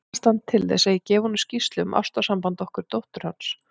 Ætlast hann til þess, að ég gefi honum skýrslu um ástarsamband okkar dóttur hans?